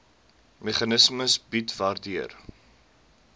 meganisme bied waardeur